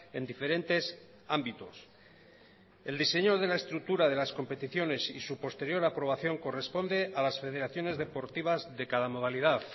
en diferentes ámbitos el diseño de la estructura de las competiciones y su posterior aprobación corresponde a las federaciones deportivas de cada modalidad